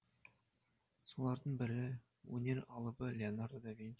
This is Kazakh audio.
солардың бірі өнер алыбы леонардо да винчи